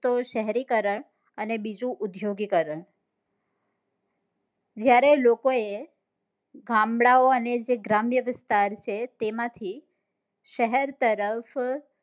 તો છે શહેરીકરણ અને બીજું ઉદ્યોગીકરણ જયારે લોકો એ ગામડાઓ અને જે ગ્રામ્યવિસ્તાર છે તેમાંથી શહેર તરફ